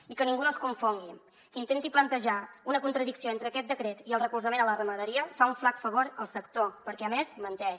i que ningú no es confongui qui intenti plantejar una contradicció entre aquest decret i el recolzament a la ramaderia fa un flac favor al sector perquè a més menteix